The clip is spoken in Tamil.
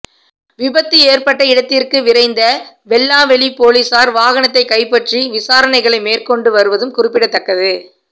விபத்து ஏற்பட்ட இடத்திற்கு விரைந்த வெல்லாவெளி பொலிசார் வாகனத்தை கைப்பற்றி விசாரணைகளை மேற்கொண்டு வருவதும் குறிப்பிடத்தக்கது